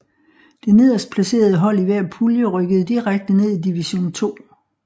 Det nederst placerede hold i hver pulje rykkede direkte ned i Division II